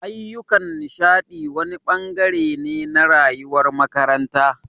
Ayyukan nishaɗi wani ɓangare ne na rayuwar makaranta